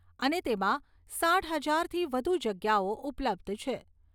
અને તેમાં સાઠ હજારથી વધુ જગ્યાઓ ઉપલબ્ધ છે.